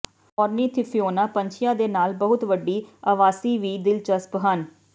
ਓਰਨੀਥੋਫਉਨਾ ਪੰਛੀਆਂ ਦੇ ਨਾਲ ਬਹੁਤ ਵੱਡੀ ਆਵਾਸੀ ਵੀ ਦਿਲਚਸਪ ਹਨ